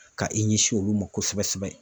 Ka i ɲɛsin olu ma kosɛbɛ sɛbɛ.